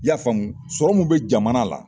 I Y'a faamu sɔrɔ min bɛ jamana la.